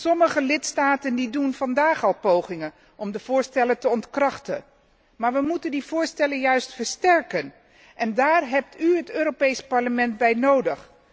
Sommige lidstaten doen vandaag al pogingen om de voorstellen te ontkrachten. Maar wij moeten die voorstellen juist versterken, en daar heeft u het Europees Parlement bij nodig!